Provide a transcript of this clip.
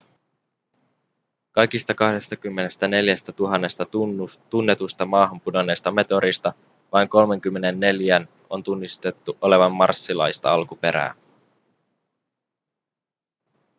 kaikista 24 000 tunnetusta maahan pudonneesta meteoriitista vain 34:n on tunnistettu olevan marsilaista alkuperää